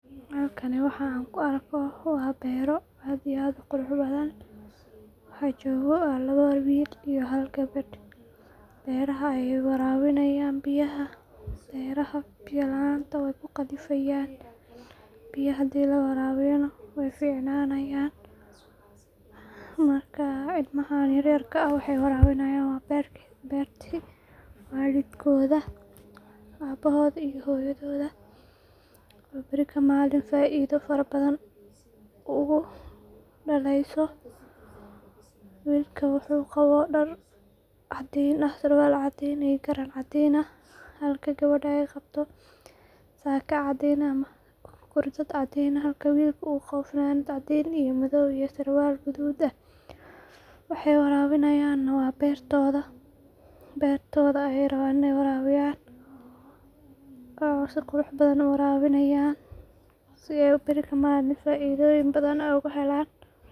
Halkani waxan kuuarkayo waa bero aad iyo aad uquruxbadhan, waxaa jogoo waa labo wil iyo hal geber, beraha ayay warabinayn biyaha, beraha biyaa laanta way kuqalifayan, biyo hadi laa warabiyo nah way ficnanayan, marka ilmaha yaryarka waxa ay warabiyan waa berti walidkodha, abohoda iyo hoyadoda, oo beri faido fara badhan ogu daleyso wilka wuxu qabaa dar cadin ah sarwal cadin ah iyo garan cadin ah, halka gebeda ay qabto sakaa caadin ah, ama gurdad cadin ah, halka wilka uu qabo fananad cadin ah iyo madow iyo sarwal gadud ah, waxay warabiyan waa bertoda, bertoda ayay raban inay warabiyan ona sii quraxbadhan ayay uwarabinayan sii ay beri kamalin faidadhoyin badhan oka helan.